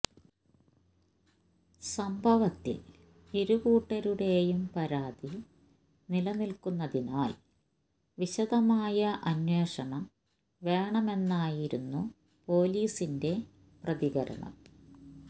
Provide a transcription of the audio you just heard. സംഭവത്തിൽ ഇരുകൂട്ടരുടെയും പരാതി നിലനിൽക്കുന്നതിനാൽ വിശദമായ അന്വേഷണം വേണമെന്നായിരുന്നു പോലീസിന്റെ പ്രതികരണം